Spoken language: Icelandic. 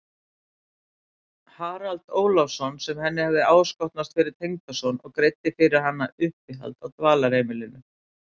Harald Ólafsson sem henni hafði áskotnast fyrir tengdason og greiddi fyrir hana uppihald á Dvalarheimilinu.